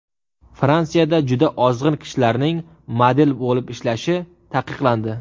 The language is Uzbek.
Fransiyada juda ozg‘in kishilarning model bo‘lib ishlashi taqiqlandi.